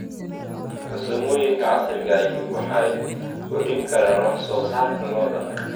Farsamooyinka casriga ahi waxay kordhin karaan wax soo saarka lo'da.